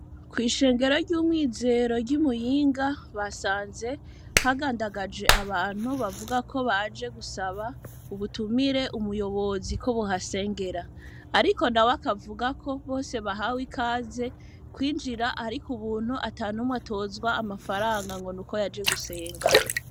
Kw'ishengero ry'umwizero ry'umuyinga basanze hagandagaje abantu bavuga ko baje gusaba ubutumire umuyobozi ko buhasengera, ariko na we akavuga ko bose bahawe ikaze kwinjira, ariko ubuntu ata ntumwe atozwa amafaranga ngo ni uko yaje gusenga.